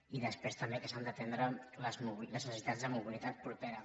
i després també que s’han d’atendre les necessitats de mobilitat propera